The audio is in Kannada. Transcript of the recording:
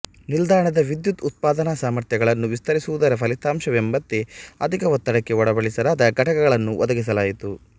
ನಿಲ್ದಾಣದ ವಿದ್ಯುತ್ ಉತ್ಪಾದನಾಸಾಮರ್ಥ್ಯಗಳನ್ನು ವಿಸ್ತರಿಸುವುದರ ಫಲಿತಾಂಶವೆಂಬಂತೆ ಅಧಿಕ ಒತ್ತಡಕ್ಕೆ ಒಳಪಡಿಸಲಾದ ಘಟಕಗಳನ್ನು ಒದಗಿಸಲಾಯಿತು